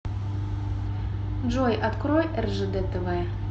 джой открой ржд тв